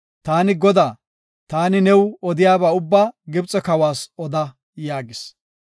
“Taani Godaa; taani new odiyaba ubbaa Gibxe kawas oda” yaagis.